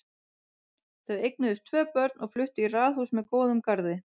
Þau eignuðust tvö börn og fluttu í raðhús með góðum garði.